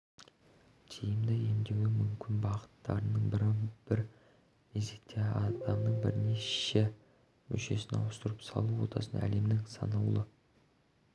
тиімді емдеудің мүмкін бағыттарының бірі бір мезетте адамның бірнеше мүшесін ауыстырып салу отасы әлемнің санаулы